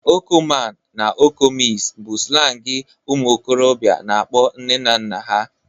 Oko man na oko miss bu slangi ụmuokorobia na-akpọ nne na nna ha